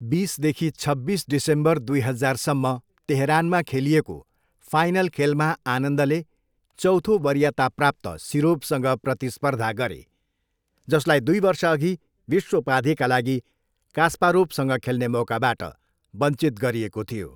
बिस देखि छब्बिस डिसेम्बर दुई हजारसम्म तेहरानमा खेलिएको फाइनल खेलमा आनन्दले चौथो वरियताप्राप्त सिरोभसँग प्रतिस्पर्धा गरे, जसलाई दुई वर्षअघि विश्व उपाधिका लागि कास्पारोभसँग खेल्ने मौकाबाट बञ्चित गरिएको थियो।